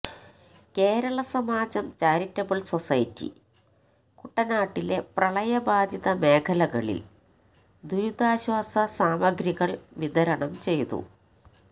Kerala Samajam charitable society കുട്ടനാട്ടിലെ പ്രളയബാധിത മേഖലകളിൽ ദുരിതാശ്വാസ സാമഗ്രികൾ വിതരണം ചെയ്തു